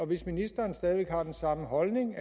hvis ministeren stadig væk har den samme holdning